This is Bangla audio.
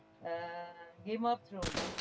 ah game of thrown